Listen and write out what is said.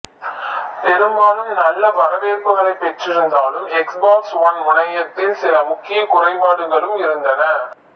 பெரும்பாலும் நல்ல வரவேற்புகளை பெற்று இருந்தாலும் எக்ஸ் பாக்ஸ் ஒன் முனையத்தில் சில முக்கிய குறைபாடுகளும் இருந்தன